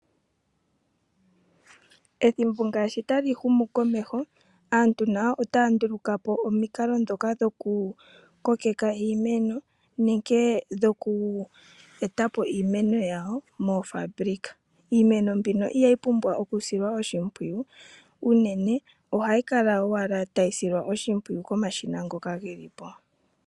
Ethimbo ngashi tali humu komeho aantu nayo otaya nduluka po omikalo ndho dhokukokeka iimeno nenge dhoku eta po iimeno yawo moofabulika. Iimeno mbika ihayi pumbwa okusilwa oshimpwiyu unene ohayi kala owala tayi silwa oshimbwiyu komashina ngoka ge li po.